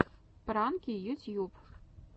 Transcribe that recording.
пранки ютьюб